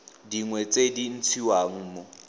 dingwe tse di ntshiwang mo